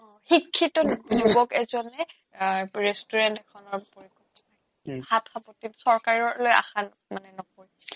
শিক্ষিত যুবক এজনে এ restaurant এখনৰ চৰকাৰলৈ আশা মানে নকৰে